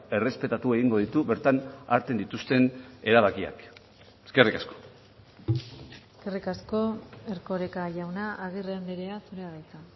errespetatu egingo ditu bertan hartzen dituzten erabakiak eskerrik asko eskerrik asko erkoreka jauna agirre andrea zurea da hitza